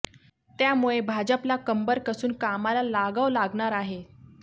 त्यामुळे भाजपला कंबर कसून कामाला लागाव लागणार आहे